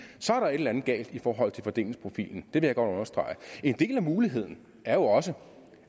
så er der et eller andet galt i forhold til fordelingsprofilen vil jeg godt understrege en mulighed er jo også